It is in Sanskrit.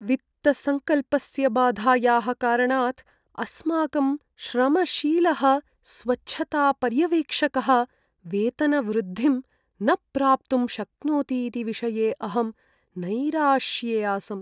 वित्तसंकल्पस्य बाधायाः कारणात् अस्माकं श्रमशीलः स्वच्छतापर्यवेक्षकः वेतनवृद्धिं न प्राप्तुं शक्नोति इति विषये अहं नैराश्ये आसम्।